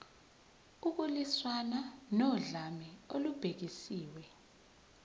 ukulwiswana nodlame olubhekiswe